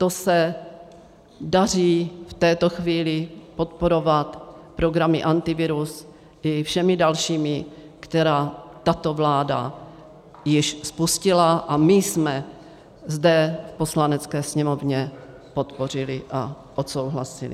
To se daří v této chvíli podporovat programy Antivirus i všemi dalšími, které tato vláda již spustila a my jsme zde v Poslanecké sněmovně podpořili a odsouhlasili.